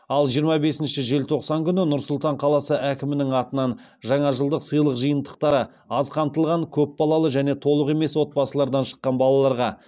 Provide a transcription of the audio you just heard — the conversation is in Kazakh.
ал жиырма бесінші желтоқсан күні нұр сұлтан қаласы әкімінің атынан жаңа жылдық сыйлық жиынтықтары аз қамтылған көп балалы және толық емес отбасылардан шыққан балаларға